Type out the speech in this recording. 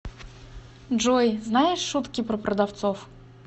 джой знаешь шутки про продавцов